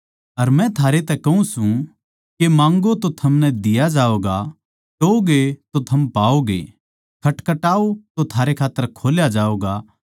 अर मै थारैतै कहूँ सूं के माँग्गो तो थमनै दिया जावैगा टोव्होगें तो थम पाओगे खटखटाओ तो थारै खात्तर खोल्या जावैगा